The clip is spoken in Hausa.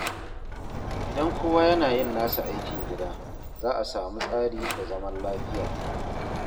Idan kowa yana yin nasa aikin gida, za a sami tsari da zaman lafiya.